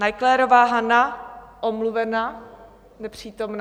Naiclerová Hana: omluvena, nepřítomna.